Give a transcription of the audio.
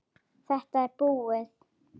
Þetta er búið!